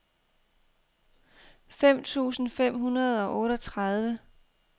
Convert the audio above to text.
fem tusind fem hundrede og otteogtredive